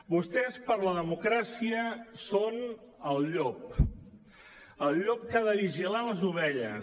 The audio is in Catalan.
vostès per la democràcia són el llop el llop que ha de vigilar les ovelles